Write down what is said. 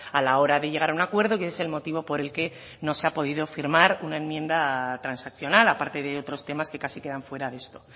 a la hora de llegar a un acuerdo que es el motivo por el que no se ha podido firmar una enmienda transaccional aparte de otros temas que casi quedan fuera de esto